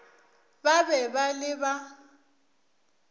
ba be ba le ba